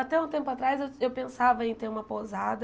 Até um tempo atrás eu eu pensava em ter uma pousada.